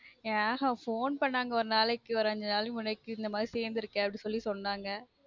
அஹன் phone பண்ணாங்க ஒரு நாளைக்கு அஞ்சு நாளைக்கு முன்னாடி இப்டி இந்த மாதிரி சொன்னாங்க